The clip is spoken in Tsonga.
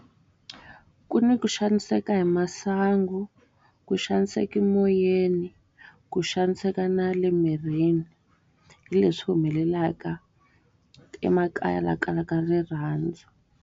Ku ni ku xaniseka hi masangu, ku xaniseka moyeni, ku xaniseka na le mirini. Hi leswi humelelaka emakaya laha ku kalaka rirhandzu.